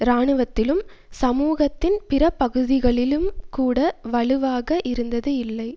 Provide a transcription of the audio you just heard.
இராணுவத்திலும் சமூகத்தின் பிற பகுதிகளிலும்கூட வலுவாக இருந்தது இல்லை